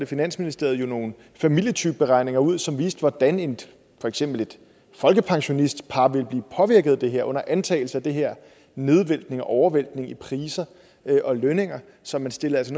finansministeriet nogle familietypeberegninger ud som viste hvordan for eksempel et folkepensionistpar ville blive påvirket af det her altså under antages af den her nedvæltning og overvæltning i priser og lønninger så man stillede altså